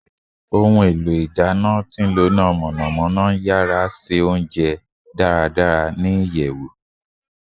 Oluso ina mọnamọna ngbaradi awọn ounjẹ ni iyara ati imunadoko ni iyẹwu